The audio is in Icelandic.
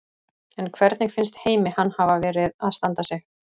En hvernig finnst Heimi hann hafa verið að standa sig?